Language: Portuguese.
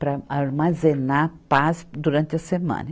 Para armazenar paz durante a semana.